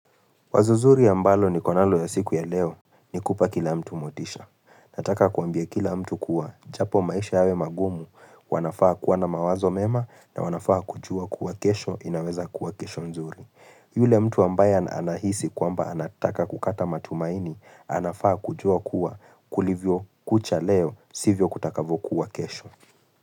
Wazo zuri ambalo niko nalo ya siku ya leo ni kupa kila mtu motisha. Nataka kuambia kila mtu kuwa. Japo maisha yawe magumu wanafaa kuwa na mawazo mema na wanafaa kujua kuwa kesho inaweza kuwa kesho nzuri. Yule mtu ambaya anahisi kwamba anataka kukata matumaini anafaa kujua kuwa kulivyo kucha leo sivyo kutakavokuwa kesho.